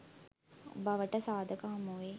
බවට සාධක හමුවෙයි.